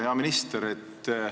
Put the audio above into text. Hea minister!